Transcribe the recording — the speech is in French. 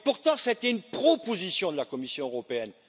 Et pourtant ça a été une proposition de la Commission européenne!